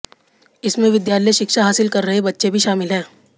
इसमें विद्यालय शिक्षा हासिल कर रहे बच्चे भी शामिल हैं